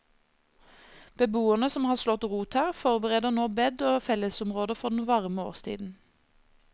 Beboerne som har slått rot her, forbereder nå bed og fellesområder for den varme årstiden.